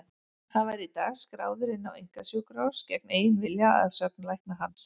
Hann var í dag skráður inn á einkasjúkrahús gegn eigin vilja, að sögn lækna hans.